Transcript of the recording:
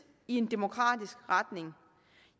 i en demokratisk retning